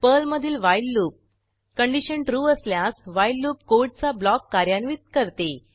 Perl मधील while loop condition true true असल्यास while loop कोडचा ब्लॉक कार्यान्वित करते